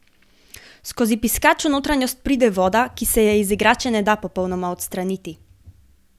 Skozi piskač v notranjost pride voda, ki se je iz igrače ne da popolnoma odstraniti.